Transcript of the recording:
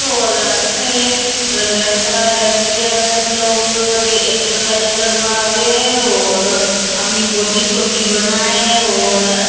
और अठे लड़का लड़किया सब लोग अठे एक्सरसाइज करवा आवे है और अपनी बॉडी शोडी बनाए और--